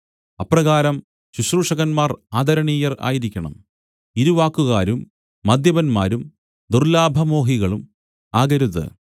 അപ്രകാരം ശുശ്രൂഷകന്മാർ ആദരണീയർ ആയിരിക്കണം ഇരുവാക്കുകാരും മദ്യപന്മാരും ദുർല്ലാഭമോഹികളും ആകരുത്